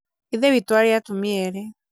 ithe witũ arĩ atumia erĩ